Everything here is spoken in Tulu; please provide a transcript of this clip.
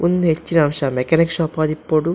ಉಂದು ಹೆಚ್ಚಿನಾಂಶ ಮೆಕಾನಿಕ್ ಶೋಪ್ ಆದಿಪ್ಪುಡು.